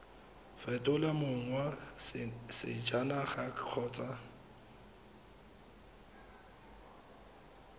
fetola mong wa sejanaga kgotsa